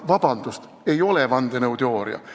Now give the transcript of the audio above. Vabandust, see ei ole vandenõuteooria!